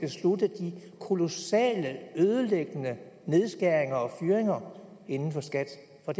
kolossale ødelæggende nedskæringer og fyringer inden for skat